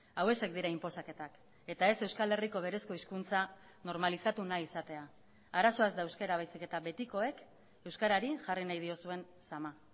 hauexek dira inposaketak eta ez euskal herriko berezko hizkuntza normalizatu nahi izatea arazoa ez da euskara baizik eta betikoek euskarari jarri nahi diozuen zama